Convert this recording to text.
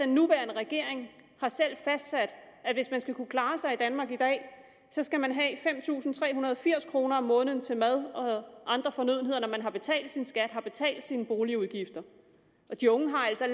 nuværende regering har selv fastsat at hvis man skal kunne klare sig i danmark i dag skal man have fem tusind tre hundrede og firs kroner om måneden til mad og andre fornødenheder når man har betalt sin skat har betalt sine boligudgifter og de unge har altså